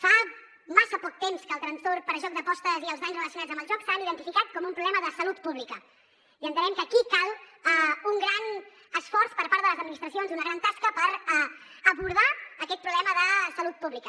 fa massa poc temps que el trastorn per joc d’apostes i els danys relacionats amb el joc s’han identificat com un problema de salut pública i entenem que aquí cal un gran esforç per part de les administracions una gran tasca per abordar aquest problema de salut pública